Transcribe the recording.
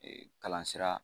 Ee kalan sira